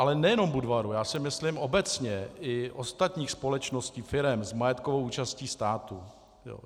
A nejenom Budvaru, já si myslím obecně i ostatních společností, firem s majetkovou účastí státu.